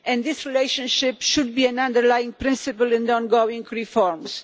This relationship should be an underlying principle in the ongoing reforms.